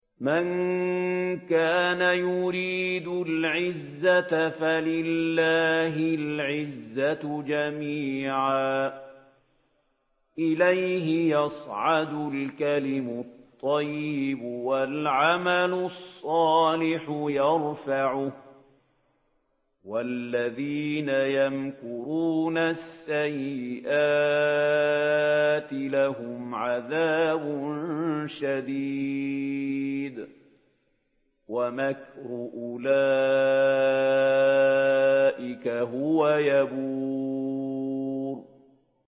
مَن كَانَ يُرِيدُ الْعِزَّةَ فَلِلَّهِ الْعِزَّةُ جَمِيعًا ۚ إِلَيْهِ يَصْعَدُ الْكَلِمُ الطَّيِّبُ وَالْعَمَلُ الصَّالِحُ يَرْفَعُهُ ۚ وَالَّذِينَ يَمْكُرُونَ السَّيِّئَاتِ لَهُمْ عَذَابٌ شَدِيدٌ ۖ وَمَكْرُ أُولَٰئِكَ هُوَ يَبُورُ